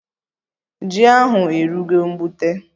Ji ahụ erugo mgbute